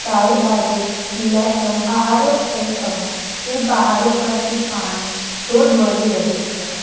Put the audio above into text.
ચારે બાજુ લીલાછમ પહાડો છે અને તે પહાડો પરથી પાણી ધોધ વહી રહ્યો છે.